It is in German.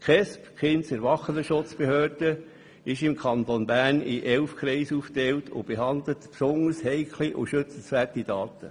Die Kindes- und Erwachsenenschutzbehörde (KESB) ist im Kanton Bern in elf Kreise aufgeteilt und behandelt besonders heikle und schützenswerte Daten.